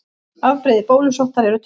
Afbrigði bólusóttar eru tvö.